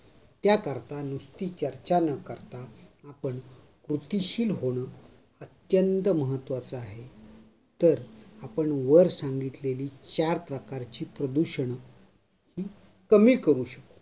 त्याकरता नुसती चर्चा न करता आपण कृतिशील होण अत्यंत महत्वाच आहे. तर, आपण वर सांगितलेली चार प्रकारची प्रदूषणं ही कमी करू शकु